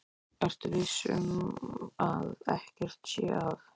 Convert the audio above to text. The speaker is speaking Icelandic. Ertu viss um að ekkert sé að?